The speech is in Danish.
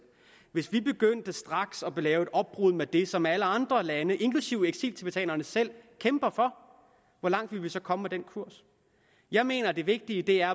hvis vi begyndte straks at lave et opbrud med det som alle andre lande inklusive eksiltibetanerne selv kæmper for hvor langt ville vi så komme med den kurs jeg mener at det vigtige er